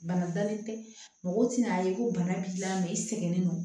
Bana dalen tɛ mɔgɔ tɛna ye ko bana b'i la mɛ i sɛgɛnnen don